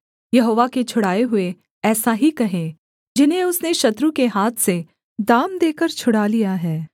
यहोवा के छुड़ाए हुए ऐसा ही कहें जिन्हें उसने शत्रु के हाथ से दाम देकर छुड़ा लिया है